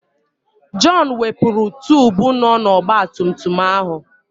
Jọn wepụrụ tubu nọ n'ọgbatumtum ahụ.